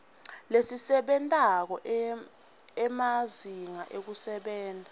lesebentako emazinga ekusebenta